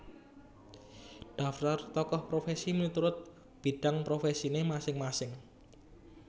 Daftar Tokoh Profesi miturut bidang profesine masing masing